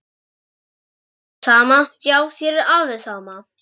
En þér er sama, já þér er alveg sama!